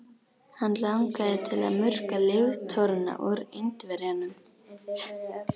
Hann langaði til að murka líftóruna úr Indverjanum.